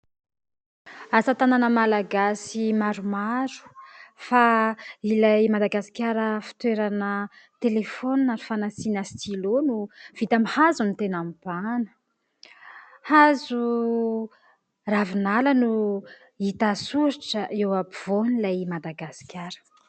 Asatanana malagasy maromaro. Fa ilay Madagasikara fitoerana telefaonina fanasina stylo no vita amin'ny hazo no tena mibahana. Hazo ravinala no hita soritra eo ampovoan'ilay Madagasikara.